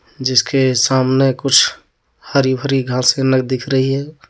जिसके सामने कुछ हरी भरी घास दिख रही है।